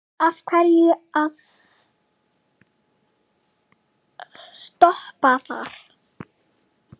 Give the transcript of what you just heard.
Af hverju að stoppa þar?